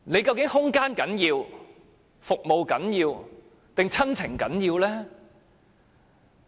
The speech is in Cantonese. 究竟是空間、服務重要，還是親情重要呢？